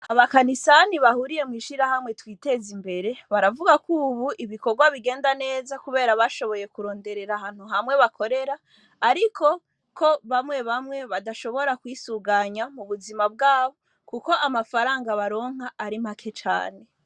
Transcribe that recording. Abakanisani bahuriye mw'ishira hamwe twiteze imbere baravuga ko, ubu ibikorwa bigenda neza, kubera bashoboye kuronderera ahantu hamwe bakorera, ariko ko bamwe bamwe badashobora kwisuganya mu buzima bwabo, kuko amafaranga baronka ari mpake cane.